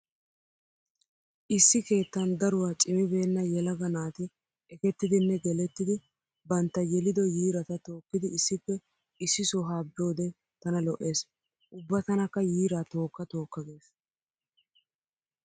Issi keettan daruwa cimibeenna yelaga naati ekettidinne gelettidi bantta yelido yiirata tookkidi issippe issi soha biyode tana lo'ees. Ubba tanakka yiira tookka tookka gees.